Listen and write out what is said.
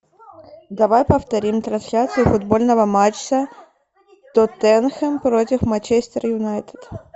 давай повторим трансляцию футбольного матча тоттенхэм против манчестер юнайтед